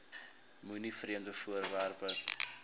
moenie vreemde voorwerpe